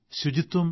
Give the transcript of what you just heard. അത് നിലനിർത്തണം